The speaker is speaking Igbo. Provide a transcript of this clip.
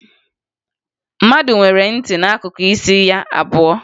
Mmadụ nwere ntị n'akụkụ isi ya abụọ